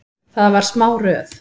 Það var smá röð.